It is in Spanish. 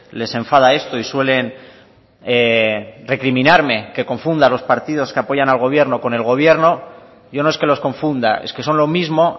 les enfada esto y suelen recriminarme que confunda los partidos que apoyan al gobierno con el gobierno yo no es que los confunda es que son lo mismo